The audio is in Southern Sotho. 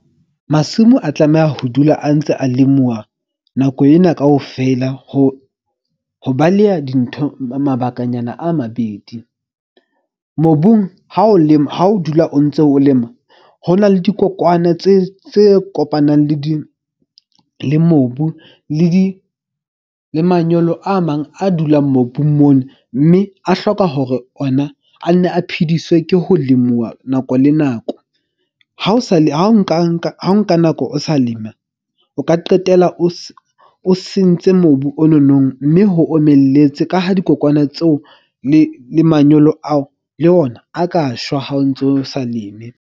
Masimo a tlameha ho dula a ntse a lemuwa nako ena kaofela. Ho baleha dintho mabakanyana a mabedi. Mobung ha o lema, ha o dula o ntso o lema. Ho na le dikokwana tse kopanang le di le mobu le di le manyolo a mang a dulang mobung mona. Mme a hloka hore ona a nne a phediswe ke ho lemuwa nako le nako. Ha o sa ha o nka nako o sa lema, o ka qetella o o sentse mobu o nonong. Mme ho omelletse ka ho dikokwana tseo le le manyolo ao, le ona a ka shwa ha o ntso o sa leme.